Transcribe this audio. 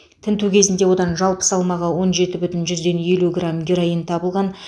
тінту кезінде одан жалпы салмағы он жеті бүтін жүзден елу грамм героин табылған